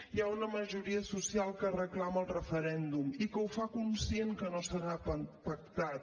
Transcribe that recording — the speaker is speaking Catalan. hi ha una majoria social que reclama el referèndum i que ho fa conscient que no serà pactat